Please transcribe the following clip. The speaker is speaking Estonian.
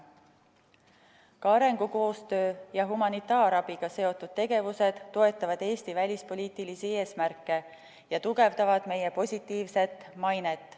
Ka arengukoostöö ja humanitaarabiga seotud tegevused toetavad Eesti välispoliitilisi eesmärke ja tugevdavad meie positiivset mainet.